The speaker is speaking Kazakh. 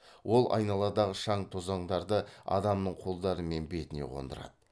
ол айналадағы шаң тозаңдарды адамның қолдары мен бетіне қондырады